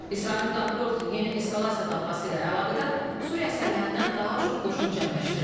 İsrail Müdafiə Ordusu yeni eskalasiya dalğası ilə əlaqədar Suriya sərhədinə daha çox qoşun cəmləşdirir.